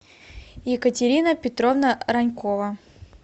екатерина петровна ранькова